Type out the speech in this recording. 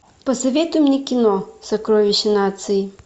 посоветуй мне кино сокровище нации